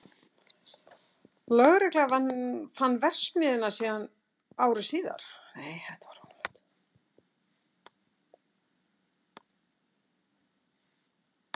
Lögregla fann verksmiðjuna síðan ári síðar